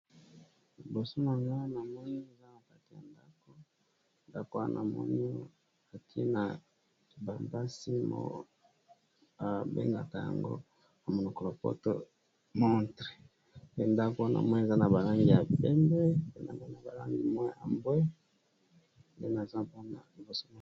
Liboso nanga ,namoni eza na kati ya ndaku , mur eza n'a langi ya pembe pe na Langi ya mbwe ,likolo bâtie ngonga.